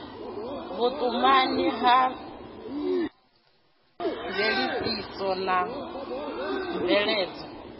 vhutumani ya thodisiso na mveledzo